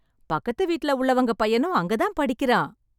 பக்கத்து வீட்ல உள்ளவங்க பையனும் அங்க தான் படிக்குறான்.